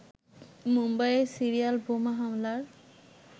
মুম্বাইয়ে সিরিয়াল বোমা হামলার